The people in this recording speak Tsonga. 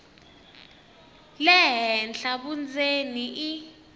le henhla vundzeni i